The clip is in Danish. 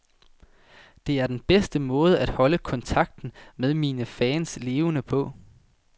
Det er den bedste måde at holde kontakten med mine fans levende på.